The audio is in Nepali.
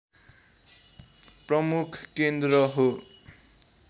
प्रमुख केन्द्र हो